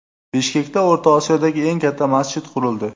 Bishkekda O‘rta Osiyodagi eng katta masjid qurildi.